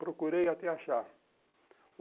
Procurei até achar.